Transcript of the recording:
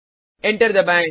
enter दबाएँ